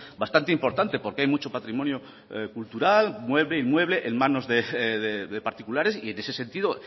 bastante importante porque hay mucho patrimonio cultural mueble inmueble en manos de particulares y en ese sentido